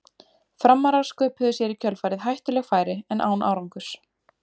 Framarar sköpuðu sér í kjölfarið hættuleg færi en án árangurs.